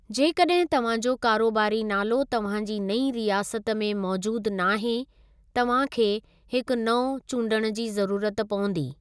जेकॾहिं तव्हां जो कारोबारी नालो तव्हां जी नईं रियासत में मौजूदु नाहे, तव्हां खे हिक नओं चूंडणु जी ज़रूरत पवंदी।